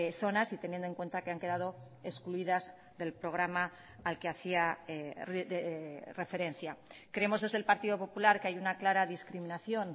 zonas y teniendo en cuenta que han quedado excluidas del programa al que hacía referencia creemos desde el partido popular que hay una clara discriminación